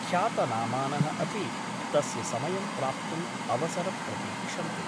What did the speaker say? ख्यातनामानः अपि तस्य समयं प्राप्तुम् अवसर प्रतीक्षन्ते ।